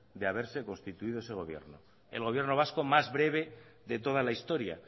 de haberse constituido ese gobierno el gobierno vasco más breve de toda la historia